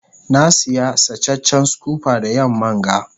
na Siya sacecen scooper da yamman ga.